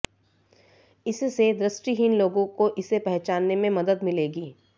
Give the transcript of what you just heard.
इससे दृष्टिहीन लोगों को इसे पहचानने में मदद मिलेगी